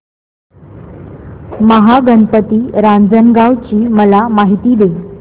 महागणपती रांजणगाव ची मला माहिती दे